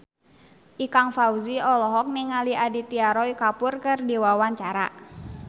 Ikang Fawzi olohok ningali Aditya Roy Kapoor keur diwawancara